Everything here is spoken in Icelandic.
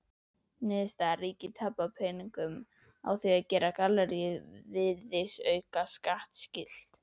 Niðurstaða: Ríkið tapaði peningum á því að gera galleríið virðisaukaskattskylt!